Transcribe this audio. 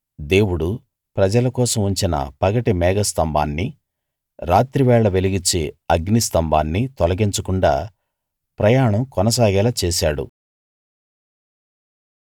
దేవుడు ప్రజల కోసం ఉంచిన పగటి మేఘస్తంభాన్ని రాత్రి వేళ వెలుగిచ్చే అగ్నిస్తంభాన్ని తొలగించకుండా ప్రయాణం కొనసాగేలా చేశాడు